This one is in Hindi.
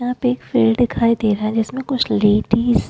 यहाँ पे एक फील्ड दिखाई दे रहा है जिसमे कुछ लेडीज --